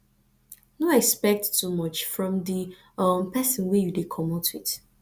no expect too much from di um person wey you dey comot with